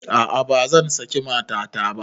A'a bazan saki matata ba